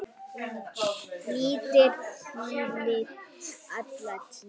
litir þínir alla tíð.